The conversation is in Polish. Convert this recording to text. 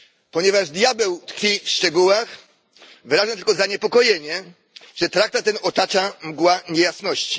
Ponieważ diabeł tkwi w szczegółach, wyrażę tylko zaniepokojenie, że traktat ten otacza mgła niejasności.